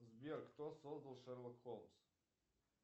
сбер кто создал шерлок холмс